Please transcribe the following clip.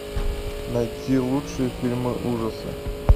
найти лучшие фильмы ужаса